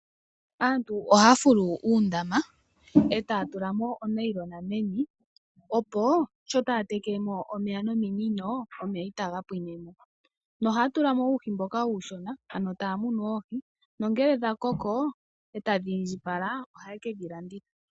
Aantu ohaya fulu uundama etaya tula mo onayilona meni. Opo sho taya teke mo omeya nominino, omeya itaga pwine mo nohaya tula mo uuhi mboka uushona ano taya munu oohi, nongele dhakoko etadhi indjipala ohaye ke dhilanditha.